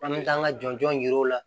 An bɛ taa an ka jɔn jɔn yiri la